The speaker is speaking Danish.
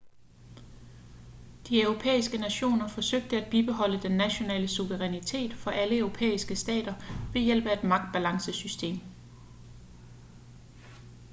de europæiske nationer forsøgte at bibeholde den nationale suverænitet for alle europæiske stater ved hjælp af et magtbalancesystem